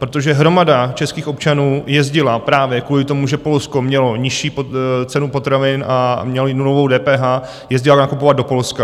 Protože hromada českých občanů jezdila právě kvůli tomu, že Polsko mělo nižší cenu potravin a mělo i nulovou DPH, jezdila nakupovat do Polska.